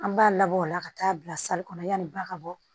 An b'a labɔ o la ka taa bila kɔnɔ yanni ba ka bɔ